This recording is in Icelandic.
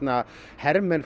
hermenn